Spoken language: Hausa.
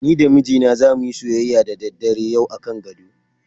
Ni da mijina zamu yi soyyaya da daddare yau akan gado.